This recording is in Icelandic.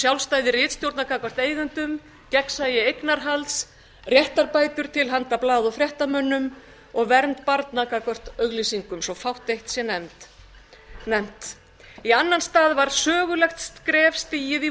sjálfstæði ritstjórna gagnvart eigendum gegnsæi eignarhalds réttarbætur til handa blaða og fréttamönnum og vernd barna gagnvart auglýsingum svo fátt eitt sé nefnt í annan stað var sögulegt skref stigið í